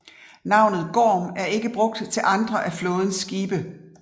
Navnet Gorm er ikke brugt til andre af flådens skibe